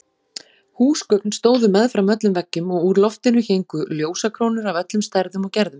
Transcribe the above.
Húsgögn stóðu meðfram öllum veggjum og úr loftinu héngu ljósakrónur af öllum stærðum og gerðum.